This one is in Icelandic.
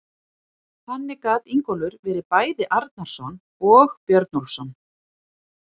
Þannig gat Ingólfur verið bæði Arnarson og Björnólfsson.